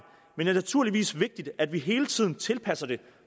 men det er naturligvis vigtigt at vi hele tiden tilpasser det